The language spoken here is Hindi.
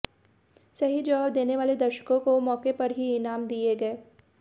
सही जवाब देने वाले दर्शकों को मौके पर ही इनाम दिए गए